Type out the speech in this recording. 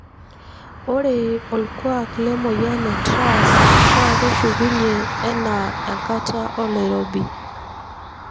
Ore olkuak lemoyian e TRAS na keshukunyie ena enkata oloirobi.